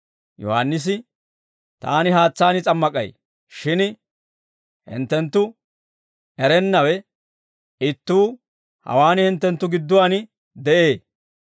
Yohaannisi, «Taani haatsaan s'ammak'ay; shin hinttenttu erennawe ittuu hawaan hinttenttu gidduwaan de'ee.